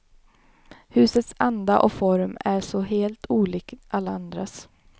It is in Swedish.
Husets anda och form är så helt olik alla andras.